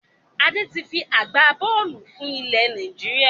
Adé tí fi agbá-bọ́ọ́lù fún ilẹ̀ Nàìjíríà.